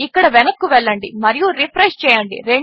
ఇక్కడ వెనక్కు వెళ్ళండి మరియు రిఫ్రెష్ చేయండి